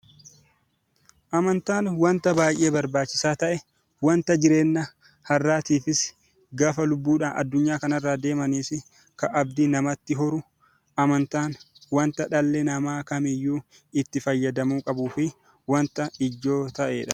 Amantaan wanta baay'ee barbaachisaa ta'e yeroo lubbuun jiranis yeroo lubbuun addunyaa kanarra deemanis abdiin namatti horuu fi amantaan wanta dhalli namaa hundi itti fayyadamuu qabuu fi wanta ijoo ta'edha.